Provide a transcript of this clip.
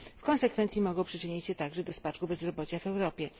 W konsekwencji mogą przyczynić się także do spadku bezrobocia w Europie.